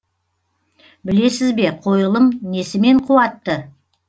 білесіз бе қойылым несімен қуатты